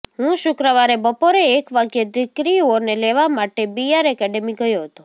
હું શુક્રવારે બપોરે એક વાગ્યે દીકરીઓને લેવા માટે બી આર એકેડેમી ગયો હતો